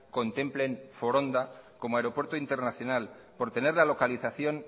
contemplen foronda como aeropuerto internacional por tener la localización